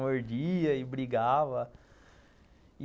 Mordia e brigava.